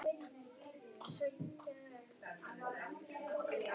Úa, hvernig verður veðrið á morgun?